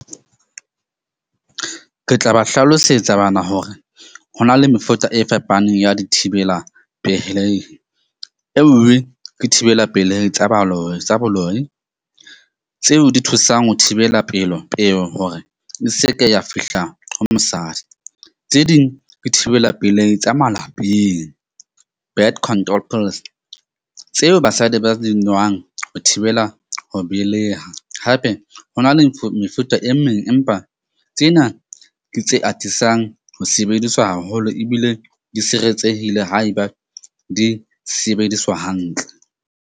Ke tla ba hlalosetsa bana hore ho na le mefuta e fepaneng ya dithibela pehelehi. Enngwe ke thibela pelehi tsa baloyi tsa boloi, tseo di thusang ho thibela pelo peo, hore e seke ya fihla ho mosadi. Tse ding di thibela pelehi tsa malapeng, tseo basadi ba di nwang ho thibela ho beleha. Hape ho na le mefuta e meng, empa tsena ke tse atisang ho sebediswa haholo ebile di siretsehile haeba di sebediswa hantle.